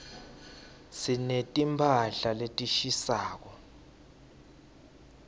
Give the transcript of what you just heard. sineti mphahla letishisako